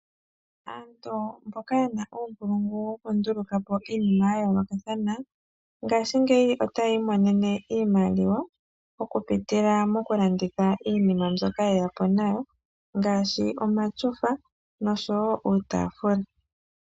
Aantu mboka ye na uunkulungu wokunduluka po iinima ya yoolokathana ngaashingeyi otaya imonene iimaliwa okupitila mokulanditha iinima mbyoka ye ya po nayo ngaashi omatyofa noshowo iitaafula.